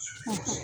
Hɔn